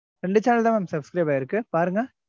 ரெண்டு channel தான் வந்து subscribe ஆயிருக்கு. பாருங்க.